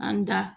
An da